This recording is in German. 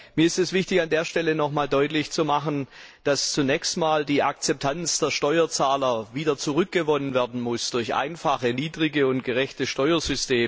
Mir ist es wichtig, an dieser Stelle nochmals deutlich zu machen, dass zunächst einmal die Akzeptanz der Steuerzahler wieder zurückgewonnen werden muss durch einfache Steuersysteme mit niedrigen und gerechten Steuern.